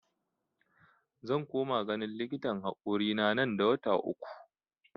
Zan koma ganin likitan hakorina nan da wata uku